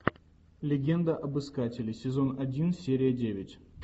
легенда об искателе сезон один серия девять